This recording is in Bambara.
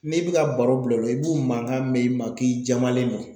N'i bi ka baro bila u la i b'u mankan mɛn i ma k'i jamalen don.